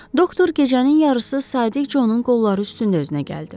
Doktor gecənin yarısı Sadiq Conun qolları üstündə özünə gəldi.